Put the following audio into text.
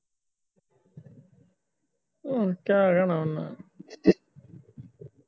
ਅੱਛਾ ਕਿਆ ਹੋਣਾ ਉਹਨਾ